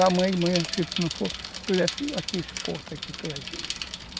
Amanhã de manhã, se tu não for, tu desce aqui nesse posto aqui, tu vai ver.